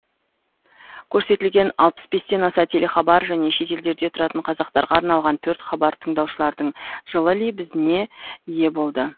көрсетілген алпыс бестен аса телехабар және шетелдерде тұратын қазақтарға арналған төрт хабар тыңдаушылардың жылы лебізіне ие болды